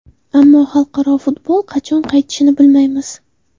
Ammo xalqaro futbol qachon qaytishini bilmaymiz.